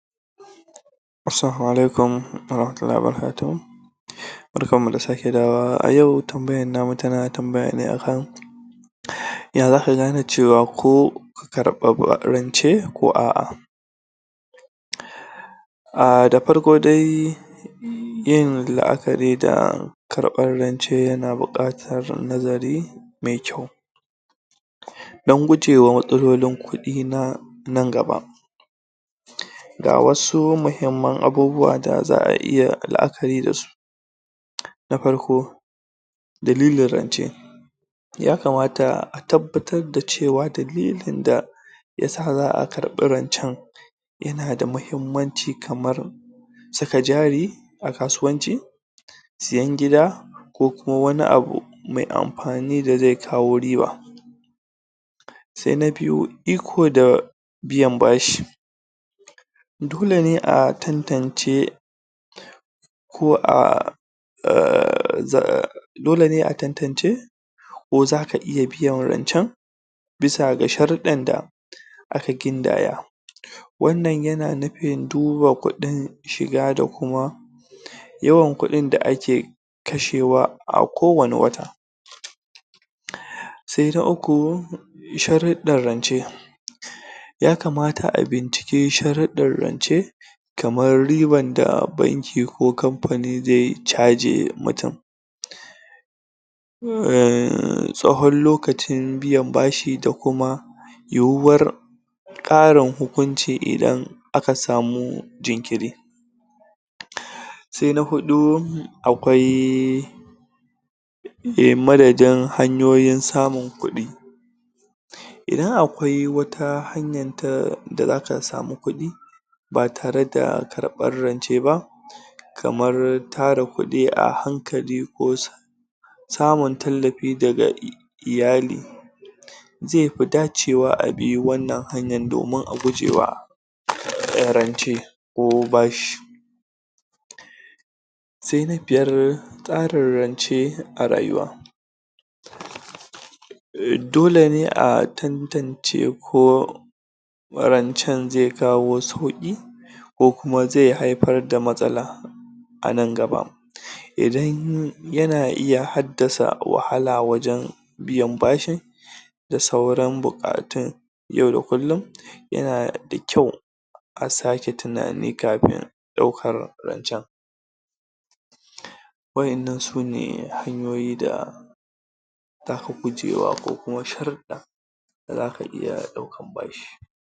Assalamau alaikum wa rahmatullahi wa barakatuhu barkan mu da sake dawowa, a yau tambayar namu tana tambaya ne akan ya zaka gane cewa ko ka karɓa rance ko a'a aah! da farko dai yin la'akari da karɓar rance yana buƙatar nazari mai kyau don gujewa matsalolin kuɗi na nan gaba ga wasu muhimman abubuwa da za'a iya la'akari da su na farko dalilin rance yakamata a tabbatar da cewar dalilin da ya sa za'a karɓi rancen yana da muhimmanci kamar saka jari a kasuwanci siyan gida ko kuma wani abu mai amfani da zai kawo riba sai na biyu, iko da biyan bashi dole ne a tantance ko a????? dole ne a tantance ko zaka iya biyan rancen bisa ga sharuɗɗan da aka gindaya wannan yana nufin duba kuɗin shiga da kuma yawan kuɗin da ake kashewa a kowane wata sai na uku sharuɗɗab rance yakamata a binciki sharuɗɗan rance kamar riban da banki ko kamfani zai caji mutum????? tsawon lokacin biyan bashi da kuma yiwuwar ƙarin hukunci idan aka samu jinkiri sai na huɗu akwai Eh, madadin hanyoyin samin kuɗi idan akwai wata hanyan ta da zaka samu kuɗi ba tare da karɓar rance ba kamar tara kuɗi a hankali ko samun tallafi daga iyali zai fi dacewa a bi wannan hanyan domin a guje wa??? rance ko bashi sai na biyar tsarin rance a rayuwa dole ne a tantance ko rancen za kawo wasu kuɗi ko kuma zai haifar da matsala a nan gaba idan yana iya haddasa wahala a wajen biyan bashin da sauran buƙatun yau da kullum yana da kyau a sake tunani kafin ɗaukar rancen waɗannan sune hanyoyi da????? zaka iya ɗaukan bashi